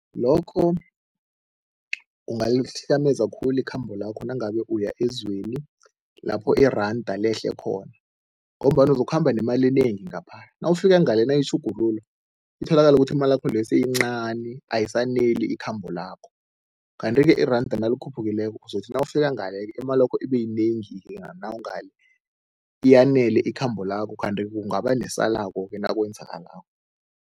Lokho khulu ikhambo lakho nangabe uya ezweni lapho iranda lehle khona ngombana uzokhamba nemali enengi ngapha, nawufika ngale nayitjhugululwa, itholakale ukuthi imalakho leyo seyincani, ayisaneli ikhambo lakho. Kanti-ke iranda nalikhuphukileko uzokuthi nawufika ngale imalakho ibe yinengi nawungale, iyanele ikhambo lakho kanti kungaba nesalako-ke nakwenzekalako.